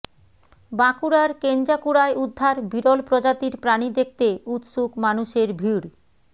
বাঁকুড়ার কেঞ্জাকুড়ায় উদ্ধার বিরল প্রজাতির প্রাণী দেখতে উৎসুক মানুষের ভিড়